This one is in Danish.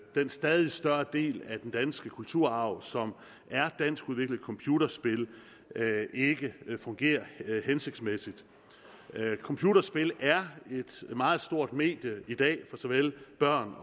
den stadig større del af den danske kulturarv som er danskudviklede computerspil ikke fungerer hensigtsmæssigt computerspil er et meget stort medie i dag for såvel børn